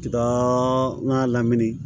N ka laɲini